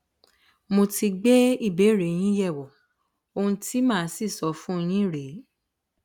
mo ti gbé ìbéèrè yín yẹwò ohun tí màá sì sọ fún yín rèé